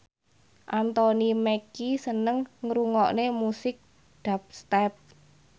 Anthony Mackie seneng ngrungokne musik dubstep